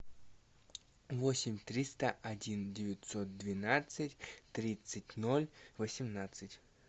восемь триста один девятьсот двенадцать тридцать ноль восемнадцать